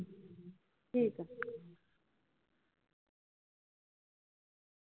ਠੀਕ ਹੈ